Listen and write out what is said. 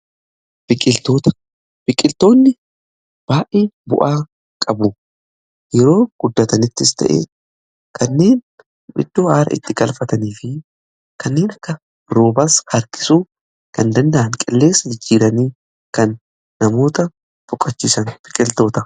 Biqiltoonni baayyee bu'aa qabu. yoo guddatanis fayyidaa baayyee qabu, isaaniis; bakka aara itti galfatan, rooba illee harkisuuf nu fayyadu, qilleensa gaarii harkisuun kan nama boqochiisan biqiltota.